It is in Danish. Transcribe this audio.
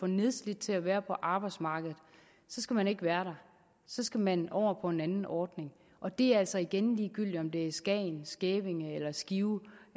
nedslidt til at være på arbejdsmarkedet så skal man ikke være der så skal man over på en ordning og det er altså igen ligegyldigt om det er skagen skævinge eller skive